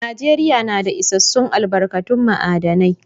Najeriya na da isassun albarkatun ma'adinai.